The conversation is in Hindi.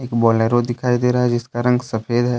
बोलोरो दिखाई दे रहा है जिसका रंग सफेद है।